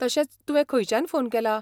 तशेंच, तुवें खंयच्यान फोन केला?